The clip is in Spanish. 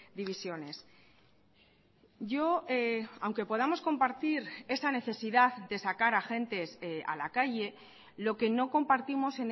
divisiones yo aunque podamos compartir esa necesidad de sacar agentes a la calle lo que no compartimos